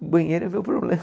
O banheiro virou problema.